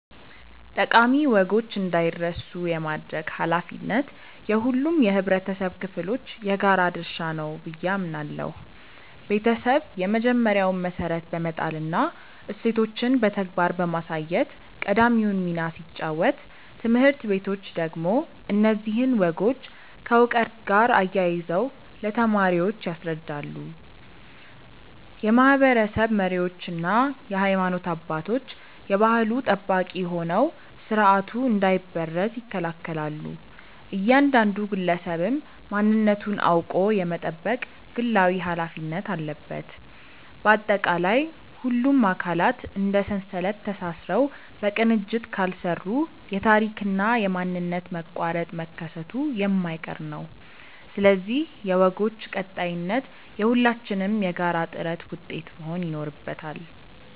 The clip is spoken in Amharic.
ጠቃሚ ወጎች እንዳይረሱ የማድረግ ኃላፊነት የሁሉም የኅብረተሰብ ክፍሎች የጋራ ድርሻ ነው ብዬ አምናለሁ። ቤተሰብ የመጀመሪያውን መሠረት በመጣልና እሴቶችን በተግባር በማሳየት ቀዳሚውን ሚና ሲጫወት፣ ትምህርት ቤቶች ደግሞ እነዚህን ወጎች ከዕውቀት ጋር አያይዘው ለተማሪዎች ያስረዳሉ። የማኅበረሰብ መሪዎችና የሃይማኖት አባቶች የባሕሉ ጠባቂ ሆነው ሥርዓቱ እንዳይበረዝ ይከላከላሉ፤ እያንዳንዱ ግለሰብም ማንነቱን አውቆ የመጠበቅ ግላዊ ኃላፊነት አለበት። ባጠቃላይ፣ ሁሉም አካላት እንደ ሰንሰለት ተሳስረው በቅንጅት ካልሠሩ የታሪክና የማንነት መቋረጥ መከሰቱ የማይቀር ነው፤ ስለዚህ የወጎች ቀጣይነት የሁላችንም የጋራ ጥረት ውጤት መሆን ይኖርበታል።